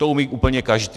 To umí úplně každý.